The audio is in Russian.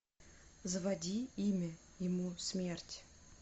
заводи имя ему смерть